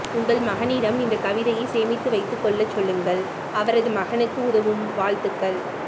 உங்கள் மகனிடம் இந்தக் கவிதையைச் சேமித்து வைத்துக் கொள்ளச் சொல்லுங்கள் அவரதுமகனுக்கு உதவும் வாழ்த்துக்கள்